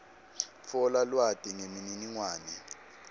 tfola lwati nemininingwane